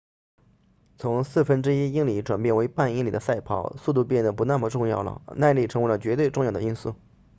从四分之一英里转变为半英里的赛跑速度变得不那么重要了耐力成为绝对重要的因素